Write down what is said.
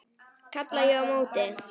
kalla ég á móti.